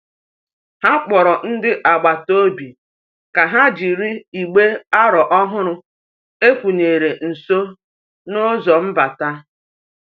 Ha kpọrọ ndị agbata obi ka ha jiri igbe aro ọhụrụ e wụnyere nso n'ụzọ mbata.